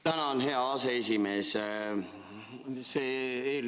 Tänan, hea aseesimees!